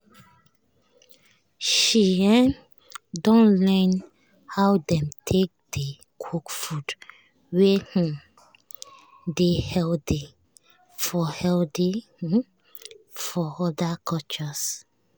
she um don learn how dem take dey cook food wey um dey healthy um for healthy um for other cultures.